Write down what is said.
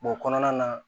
o kɔnɔna na